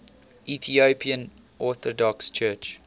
ethiopian orthodox church